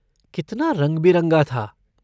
कितना रंग बिरंगा था।